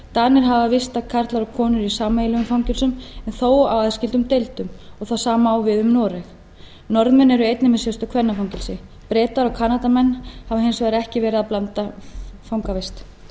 hafa vistað karla og konur í sameiginlegum fangelsum en þó á aðskildum deildum og það sama á við um noreg norðmenn eru einnig með sérstök kvennafangelsi bretar og kanadamenn hafa hins vegar ekki verið með blandaða fangavist